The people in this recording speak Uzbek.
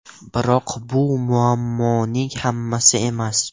Biroq bu muammoning hammasi emas.